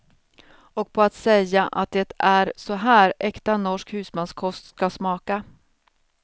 Och på att säga att det är så här äkta norsk husmanskost ska smaka.